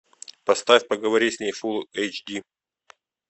поставь поговори с ней фулл эйч ди